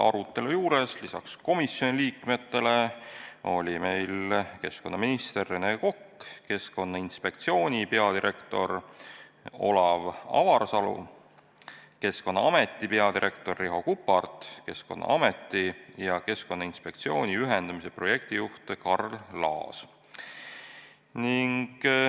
Arutelu juures olid lisaks komisjoni liikmetele ka keskkonnaminister Rene Kokk, Keskkonnainspektsiooni peadirektor Olav Avarsalu, Keskkonnaameti peadirektor Riho Kuppart, Keskkonnaameti ja Keskkonnainspektsiooni ühendamise projektijuht Karl Laas.